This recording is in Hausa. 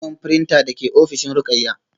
Muna neman printer da ke ofishin Ruqayyah